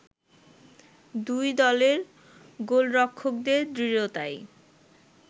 দুই দলের গোলরক্ষকদের দৃঢ়তায়